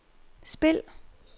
spil